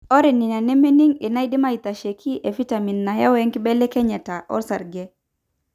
ore nena nemening' enaidim aitasheiki efitamin neyieu enkibelekenyata osarge.